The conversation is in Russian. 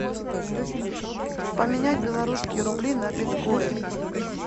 поменять белорусские рубли на биткоин